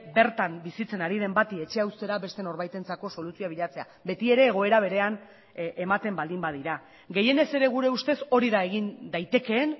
bertan bizitzen ari den bati etxea uztera beste norbaitentzako soluzioa bilatzea betiere egoera berean ematen baldin badira gehienez ere gure ustez hori da egin daitekeen